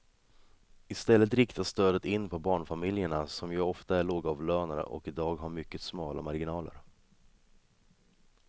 I stället riktas stödet in på barnfamiljerna som ju ofta är lågavlönade och i dag har mycket smala marginaler.